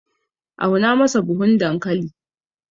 auna masa buhun dankali!